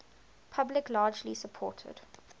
public largely supported